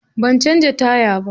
Ban canza taya ba.